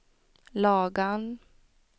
Lagan